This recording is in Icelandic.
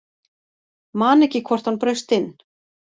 Man ekki hvort hann braust inn